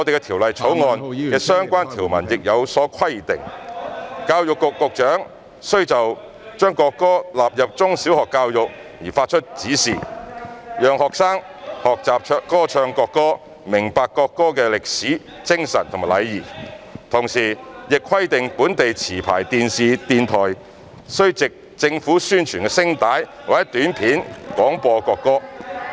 《條例草案》的相關條文亦有所規定，教育局局長須就將國歌納入中小學教育發出指示，讓學生學習歌唱國歌、明白國歌的歷史、精神和意義，同時亦規定本地持牌電視及電台須藉政府宣傳聲帶或短片廣播國歌。